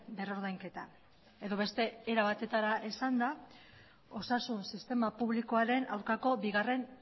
berrordainketa edo beste era batetara esanda osasun sistema publikoaren aurkako bigarren